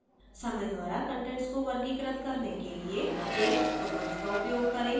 समय द्वारा कंटेंट्स को वर्गीकृत करने के लिए date tokens का उपयोग करें